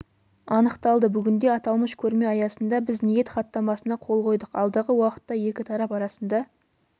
анықталды бүгінде аталмыш көрме аясында біз ниет хаттамасына қол қойдық алдағы уақытта екі тарап арасында